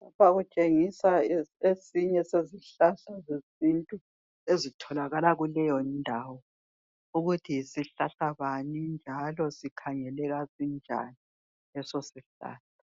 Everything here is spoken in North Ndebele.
Lapha kutshengisa esinye sezihlahla zesintu ezitholakala kuleyo ndawo ukuthi yisihlahla bani njalo sikhangeleka sinjani leso sihlahla